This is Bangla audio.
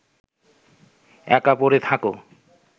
একা পড়ে থাকো